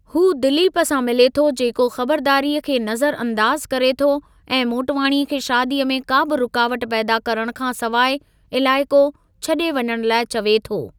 हू दिलीप सां मिले थो जेको ख़बरदारीअ खे नज़र अंदाज़ु करे थो ऐं मोटवाणीअ खे शादीअ में का बि रुकावट पैदा करणु खां सवाइ इलाइक़ो छॾे वञणु लाइ चवे थो।